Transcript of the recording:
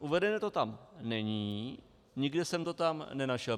Uvedeno to tam není, nikde jsem to tam nenašel.